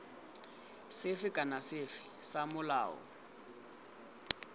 sefe kana sefe sa molao